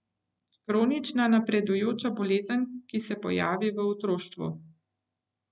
Kronična napredujoča bolezen, ki se pojavi v otroštvu.